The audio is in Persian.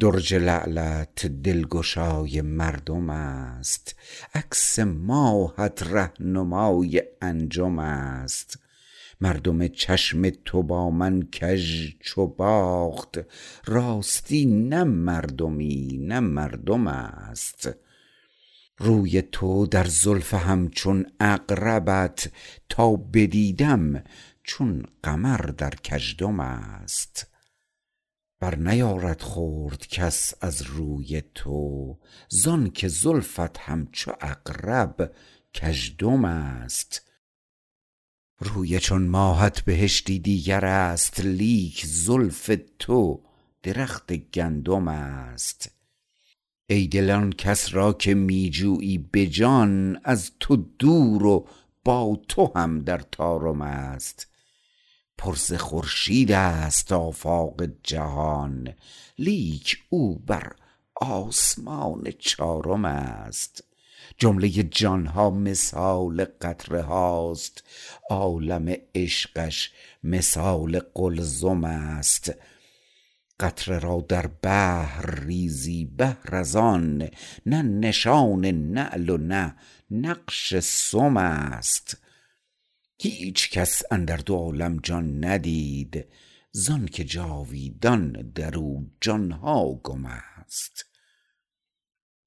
درج لعلت دلگشای مردم است عکس ماهت رهنمای انجم است مردم چشم تو با من کژ چو باخت راستی نه مردمی نه مردم است روی تو در زلف همچون عقربت تا بدیدم چون قمر در کژدم است برنیارد خورد کس از روی تو زانکه زلفت همچو عقرب کج دم است روی چون ماهت بهشتی دیگر است لیک زلف تو درخت گندم است ایدل آنکس را که می جویی به جان از تو دور و با تو هم در طارم است پر ز خورشید است آفاق جهان لیک او بر آسمان چارم است جمله جان ها مثال قطره هاست عالم عشقش مثال قلزم است قطره را در بحر ریزی بهر از آن نه نشان نعل و نه نقش سم است هیچ کس اندر دو عالم جان ندید زانکه جاویدان درو جان ها گم است